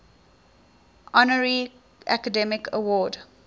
honorary academy award